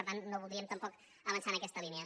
per tant no voldríem tampoc avançar en aquesta línia